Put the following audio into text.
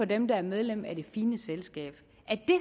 dem der er medlem af det fine selskab er det